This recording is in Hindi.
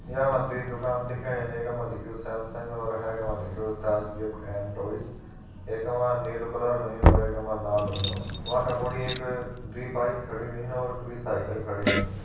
या मा दुई दुकान दिखेणी एका मा लिख्युं सैमसंग और हाखा मा लिख्युं ताज गिफ्ट एंड टॉयज । एका मा नीलू कलर होयुं और एका मा लाल होयुं। वाका मूड़ी एक दुई बाइक खड़ी हुईन और दुइ साइकिल खड़ी हुईन।